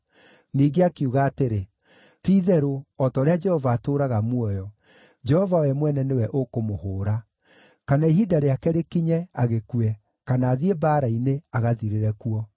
Ningĩ akiuga atĩrĩ, “Ti-itherũ, o ta ũrĩa Jehova atũũraga muoyo, Jehova we mwene nĩwe ũkũmũhũũra; kana ihinda rĩake rĩkinye, agĩkue, kana athiĩ mbaara-inĩ, agathirĩre kuo.